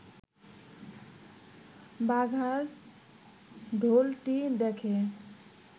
বাঘার ঢোলটি দেখে